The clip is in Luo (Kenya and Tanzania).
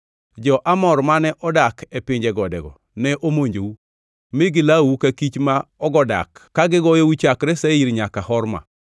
Jo-Amor mane odak e pinje godego ne omonjou, mi gilawou ka kich ma ogodak kagi goyou chakre Seir nyaka Horma.